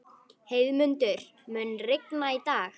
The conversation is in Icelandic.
Heiðmundur, mun rigna í dag?